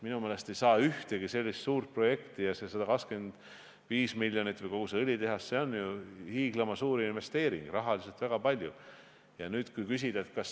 Minu meelest ei saa ühtegi sellist suurt projekti – 125 miljonit või kogu see õlitehas on ju hiiglama suur investeering, rahaliselt väga suur – ainult ühe külje pealt vaadata.